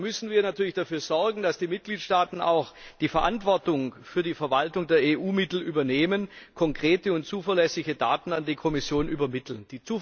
Da müssen wir natürlich dafür sorgen, dass die Mitgliedstaaten auch die Verantwortung für die Verwaltung der EU Mittel übernehmen und konkrete und zuverlässige Daten an die Kommission übermitteln.